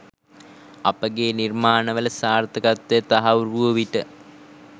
අපගේ නිර්මාණවල සාර්ථකත්වය තහවුරු වූ විට